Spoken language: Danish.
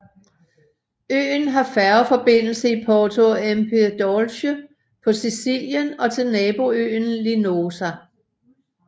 Øen har færgeforbindelse til Porto Empedocle på Sicilien og til naboøen Linosa